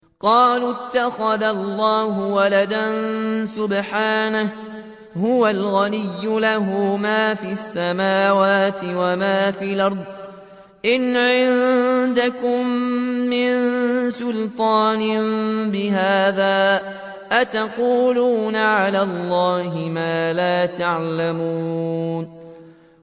قَالُوا اتَّخَذَ اللَّهُ وَلَدًا ۗ سُبْحَانَهُ ۖ هُوَ الْغَنِيُّ ۖ لَهُ مَا فِي السَّمَاوَاتِ وَمَا فِي الْأَرْضِ ۚ إِنْ عِندَكُم مِّن سُلْطَانٍ بِهَٰذَا ۚ أَتَقُولُونَ عَلَى اللَّهِ مَا لَا تَعْلَمُونَ